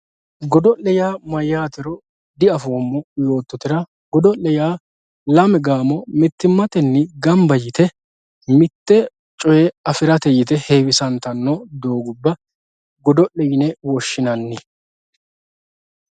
godo'le yaa mayaatero diafoomo yoototera godo'le yaa lame gaamo mittimatenni gamba yite mitte coyee afirate yite heewisanttanno doogubba goda'le yine woshshinanni